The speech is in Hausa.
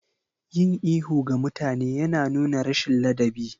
Yin ihu ga mutane yana nuna rashin ladabi.